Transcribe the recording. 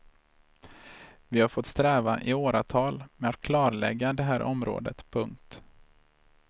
Vi har fått sträva i åratal med att klarlägga det här området. punkt